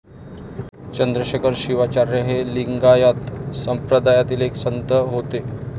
चंद्रशेखर शिवाचार्य हे लिंगायत संप्रदायातील एक संत होते.